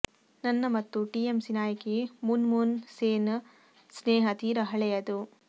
ನನ್ನ ಮತ್ತು ಟಿಎಂಸಿ ನಾಯಕಿ ಮೂನ್ಮೂನ್ ಸೇನ್ ಸ್ನೇಹ ತೀರಾ ಹಳೆಯದು